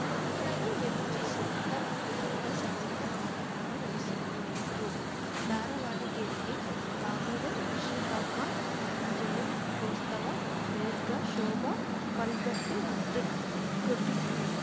ಉನ್ನಳಿ ಎಂಜೆಸುನಂದ ಮತ್ತು ತಂಡ ಸಂಗೀತ ಕಾರ್ಯಕ್ರಮ ನಡೆಸಿಕೊಟ್ಟಿತ್ತು ದಾರವಾಣಗೆರೆಗೆ ಬಾಗವನ್‌ ವಿಶ್ವಕರ್ಮ ಜಯಂತೋತ್ಸವ ಮೇರ್ಗಾ ಶೋಭಾ ಪಲ್ಗಟ್ಟೆಉದ್ಟ್ ಉದ್ಘಟ್ಟಸಿದರು